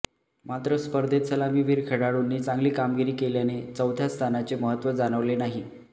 मात्र स्पर्धेत सलामीवीर खेळाडूंनी चांगली कामगिरी केल्याने चौथ्या स्थानाचे महत्व जाणवले नाही